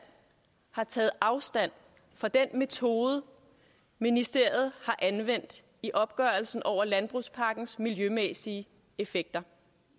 har taget afstand fra den metode ministeriet har anvendt i opgørelsen over landbrugspakkens miljømæssige effekter